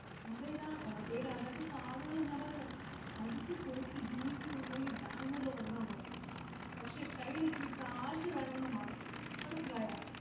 അതേടാ അതേടാ അതൊക്കെ ഞാൻ പറഞ്ഞില്ലേ അടിച്ചുപൊളിച് ജീവിക്കണമെന്നുണ്ടെങ്കിൽ Bangalore ല് വന്ന മതി പക്ഷെ കൈയിൽ ഇത്തിരി കാശ് വേണം ന്ന് മാത്രം മനസ്സിലായോ